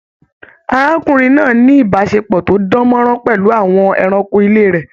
Arákùnrin náà ní ìbáṣepọ̀ tó dàn mọ́ràn pẹlú àwọn ẹranko ilé rẹ.